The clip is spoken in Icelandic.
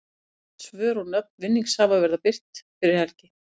Rétt svör og nöfn vinningshafa verða birt fyrir helgi.